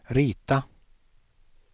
rita